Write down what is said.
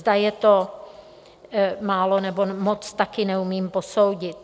Zda je to málo, nebo moc, taky neumím posoudit.